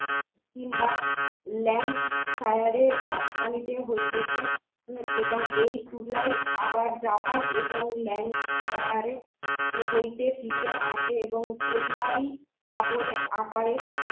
land সায়ারে রাস্তা হইতে এই এবং এই তুলাই আবার জাপান এবং land সায়ারে হইতে ফিরিয়া আসে এবং ইহাই কাপড়ের আকারে